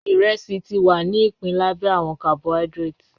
Iresi ti wa ni ipin labẹ awọn carbohydrates